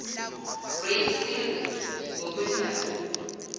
great seal ngokwedabuko